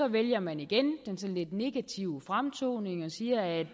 vælger man igen den sådan lidt negative fremtoning og siger at